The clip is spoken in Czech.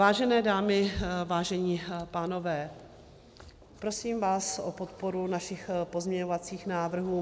Vážené dámy, vážení pánové, prosím vás o podporu našich pozměňovacích návrhů.